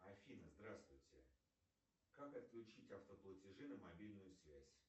афина здравствуйте как отключить автоплатежи на мобильную связь